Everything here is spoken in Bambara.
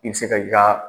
I bɛ se ka i ka